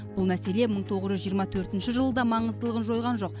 бұл мәселе мың тоғыз жүз жиырма төртінші жылы да маңыздылығын жойған жоқ